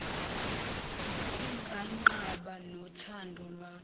nganqaba nothando lwami